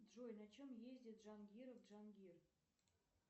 джой на чем ездит джангиров джангир